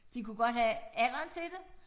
De kunne godt have alderen til det